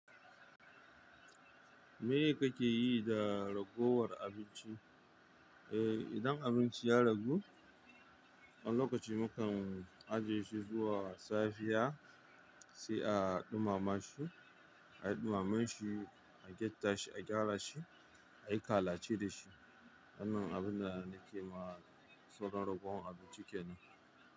Meye kake yi da ragowar abinci? Eh, idan abinci ya ragu, wani lokaci mu kan ajiye shi zuwa safiya sai a ɗumamashi, ayi ɗumamanshi, a gyatta shi, a gyara shi, a yi kalace da shi. Wannan abin da nake ma sauran ragowan abinci kenan.